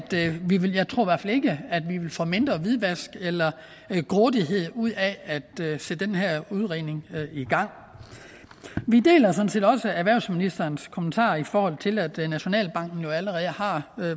vi vil få mindre hvidvask eller grådighed ud af at sætte den her udredning i gang vi deler sådan set også erhvervsministerens kommentarer i forhold til det at nationalbanken jo allerede har